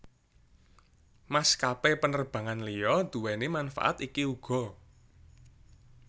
Maskapé penerbangan liya duweni manfaat iki uga